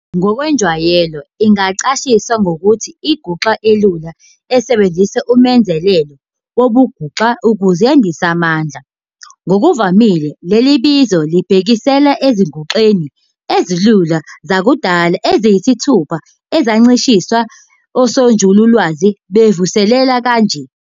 Ngokwenjwayelo, ingachasiswa ngokuthi inguxa elula esebenzisa umenzelelo wobunguxa ukuze yandise amandla. Ngokuvamile, leli bizo libhekisela ezinguxeni ezilula zakudala eziyisithupha ezachasiswa osonjulalwazi bemvuselelo kanje.